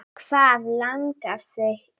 Hvað langar þig í!